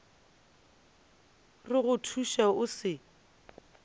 re go thuše o se